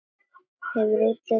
Hefur útlitið með þér.